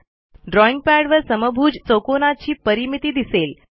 drawing पॅडवर समभुज चौकोनाची परिमिती दिसेल